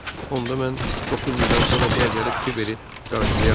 Onda mən doqquz ildən sonra bura gəlib Kiberi qarşılayaram.